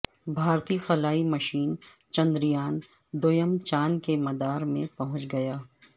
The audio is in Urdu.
بھارتی خلائی مشن چندریان دوئم چاند کے مدار میں پہنچ گیا